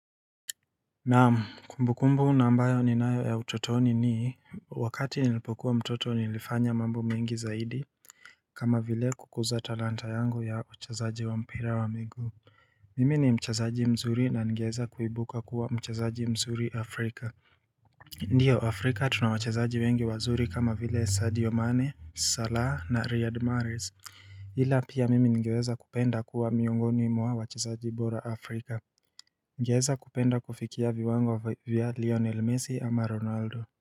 Naam kumbukumbu na ambayo ninayo ya utotoni ni wakati nilipokuwa mtoto nilifanya mambo mengi zaidi kama vile kukuza talanta yangu ya uchezaji wa mpira wa miguu Mimi ni mchezaji mzuri na ningeweza kuibuka kuwa mchezaji mzuri Afrika Ndio Afrika tunawachezaji wengi wazuri kama vile Sadio Mane, Salah na Riyad Mahrez ila pia mimi ningeweza kupenda kuwa miongoni mwa wachezaji bora Afrika Ningeweza kupenda kufikia viwango vya Lionel Messi ama Ronaldo.